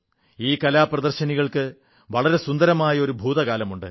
ഈ കലാ പ്രദർശനികൾക്ക് വളരെ സുന്ദരമായ ഒരു ഭൂതകാലമുണ്ട്